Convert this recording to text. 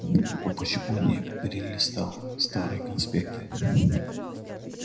ну почему не перелистал старые конспекты